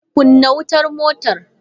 Kunna wutar motar!